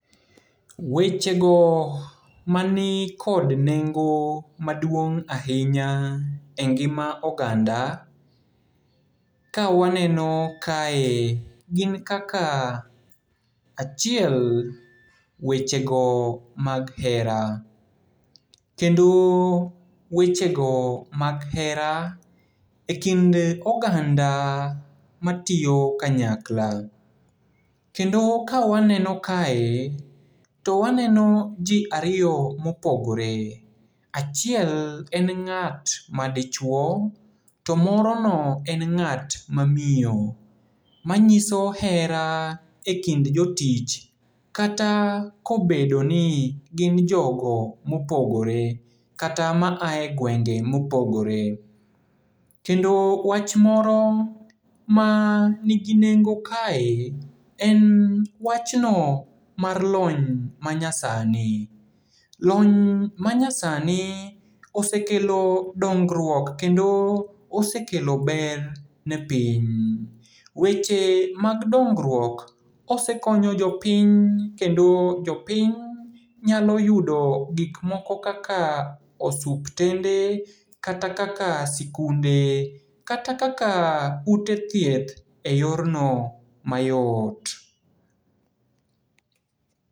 Wechego mani kod nengo maduong' ahinya e ngima oganda, kawaneno kae, gin kaka. Achiel, wechego mag hera. Kendo wechego mag hera e kind oganda matiyo kanyakla. Kendo kawaneno kae, to waneno ji ariyo mopogore. Achiel en ng'at madichuo, to moro no en ng'at mamiyo. Manyiso hera e kind jotich, kata kobedoni gin jogo mopogore, kata maae gwenge mopogore. Kendo wach moro manigi nengo kae, en wachno mar lony manyasani. Lony manyasani osekelo dongruok kendo osekelo ber ne piny. Weche mag dongruok osekonyo jopiny kendo jopiny nyalo yudo gikmoko kaka osuptende, kata kaka sikunde, kata kaka ute thieth e yorno mayot.